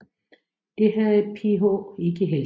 Det havde PH ikke held til